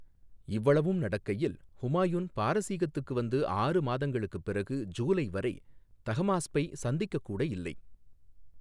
இவ்வளவும் நடக்கையில், ஹுமாயூன் பாரசீகத்துக்கு வந்து ஆறு மாதங்களுக்குப் பிறகு, ஜூலை வரை தஹமாஸ்பை சந்திக்கக் கூட இல்லை.